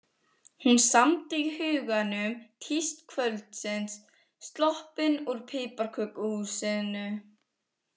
Hún samdi í huganum tíst kvöldsins: Sloppin úr piparkökuhúsinu.